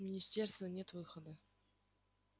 у министерства нет выхода